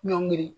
Ɲɔngiri